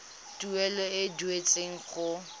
tuelo e e duetsweng go